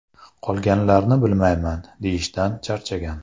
Qolganlarini bilmayman”, deyishdan charchagan.